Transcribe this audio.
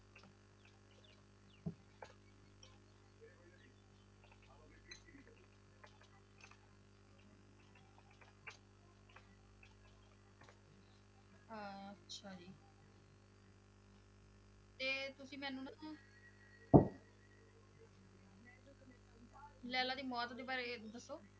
ਲੈਲਾ ਦੀ ਮੌਤ ਦੇ ਬਾਰੇ ਦੱਸੋ।